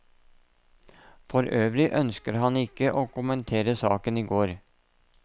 For øvrig ønsket han ikke å kommentere saken i går.